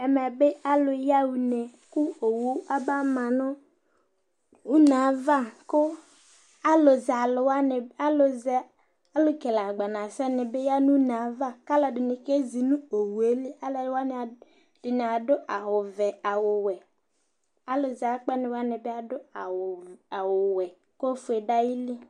Ɛmɛ bɩ alʊ yaɣa une, kʊ owucaba tɔ nʊ une yɛ ava, kʊ alʊ kele agbanasɛ wanɩ bɩ ya nʊ une yɛ ava, alʊɛdɩnɩ kezi nʊ owu yɛ li, alʊwanɩ ɛdɩnɩ adʊ awʊ vɛ , awʊ wɛ, alʊ zɛ akpɛnɩ wanɩ bɩ adʊ awʊ wɛ kʊ ofue dʊ ayili